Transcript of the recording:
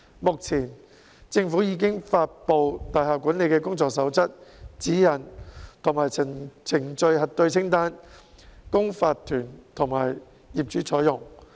目前，政府已發布大廈管理的工作守則、指引及程序核對清單，供法團及業主採用。